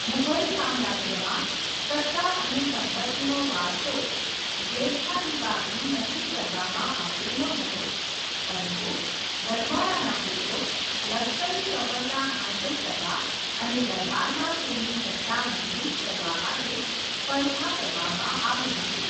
મુઘલ સામ્રાજ્યમાં સત્તા અને સંપત્તિનો વારસો જ્યેષ્ઠાધિકારથી નક્કી કરવામાં આવ્યો ન હતો, પરંતુ રજવાડાના પુત્રો લશ્કરી સફળતા હાંસલ કરવા અને દરબારમાં તેમની સત્તા મજબૂત કરવા માટે સ્પર્ધા કરવામાં આવી હતી.